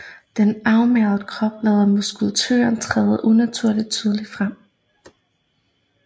Den afmagrede krop lader muskulaturen træde unaturligt tydeligt frem